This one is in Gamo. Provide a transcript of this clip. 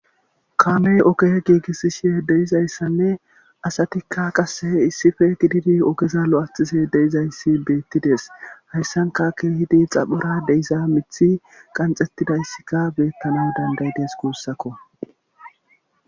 kaamey oge giigissishe deyizayssanne asatikka qasse issife gididi ogeza lo7athise deizayssi beettides hayssanka keehidi xaphora deiza mithi qanxettidayssika beettana dandayides kuussakko